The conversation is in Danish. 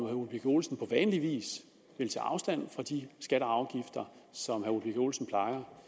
ole birk olesen på vanlig vis vil tage afstand fra de skatter og afgifter som herre ole birk olesen plejer